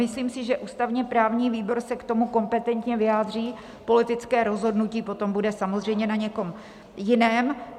Myslím si, že ústavně-právní výbor se k tomu kompetentně vyjádří, politické rozhodnutí potom bude samozřejmě na někom jiném.